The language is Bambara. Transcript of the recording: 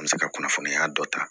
An bɛ se ka kunnafoniya dɔ ta